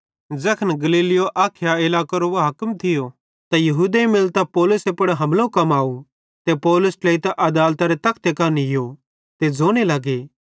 ज़ैखन गल्लियो अखाया इलाकेरो हाकिम थियो त यहूदेईं मिलतां पौलुसे पुड़ हमलो कमाव ते पौलुस ट्लेइतां आदालतरे तखते कां नीयो ते ज़ोने लग्गे